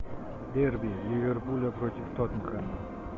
дерби ливерпуля против тоттенхэма